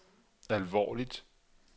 alvorligt